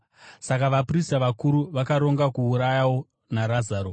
Saka vaprista vakuru vakaronga kuurayawo naRazaro,